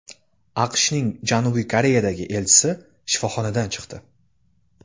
AQShning Janubiy Koreyadagi elchisi shifoxonadan chiqdi.